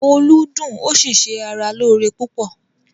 “Olú” dùn ó sì se ara lóore púpọ̀.